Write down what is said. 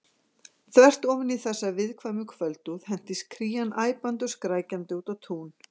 Þvert ofan í þessa viðkvæmu kvöldúð hentist Krían æpandi og skrækjandi út á tún.